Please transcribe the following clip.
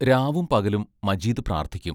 രാവും പകലും മജീദ് പ്രാർത്ഥിക്കും.